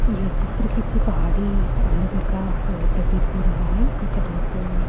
यह चित्र किसी पहाड़ी अह नगर का अह प्रतीत हो रहा है यहां पर--